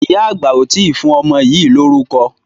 Ìyá àgbà ò tí ì fún ọmọ yìí lórúkọ.